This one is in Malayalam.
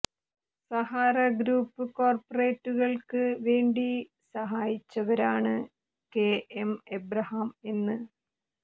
സഹാറ ഗ്രൂപ്പ് കോർപ്പറേറ്റുകൾക്ക് വേണ്ടി സഹായിച്ചവരാണ് കെ എം എബ്രഹാം എന്ന്